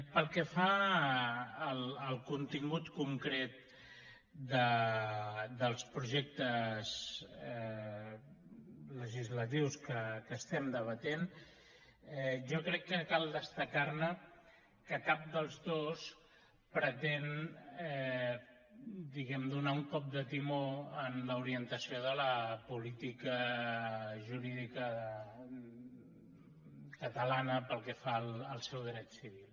pel que fa al contingut concret dels projectes legislatius que debatem jo crec que cal destacar ne que cap dels dos pretén fer un cop de timó en l’orientació de la política jurídica catalana pel que fa al seu dret civil